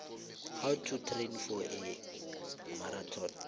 how to train for a marathon